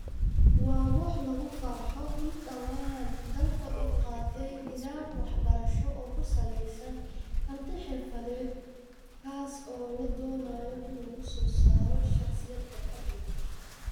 Waa wax lagu farxo in dhawaan dalka uu qaatay nidaam waxbarasho oo ku salaysan karti-xirfadeed kaas oo la doonayo in lagu soo saaro shaqsiyaad xirfad leh.